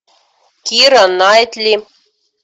кира найтли